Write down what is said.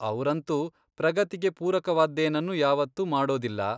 ಅವ್ರಂತೂ ಪ್ರಗತಿಗೆ ಪೂರಕವಾದ್ದೇನನ್ನೂ ಯಾವತ್ತೂ ಮಾಡೋದಿಲ್ಲ.